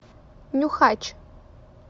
нюхач